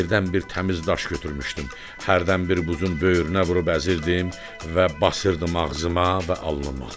Yerdən bir təmiz daş götürmüşdüm, hərdən bir buzun böyürünə vurub əzirdim və basırdım ağzıma və alnıma.